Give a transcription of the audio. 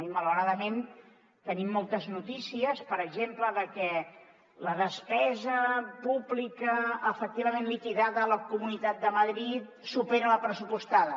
i malauradament tenim moltes notícies per exemple de que la despesa pública efectivament liquidada a la comunitat de madrid supera la pressupostada